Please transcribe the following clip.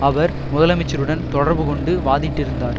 அவர் முதலமைச்சருடன் தொடர்பு கொண்டு வாதிட்டிருந்தார்